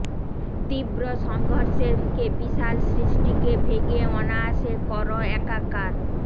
তীব্র সংঘর্ষের মুখে বিশাল সৃষ্টিকে ভেঙে অনায়াসে কর একাকার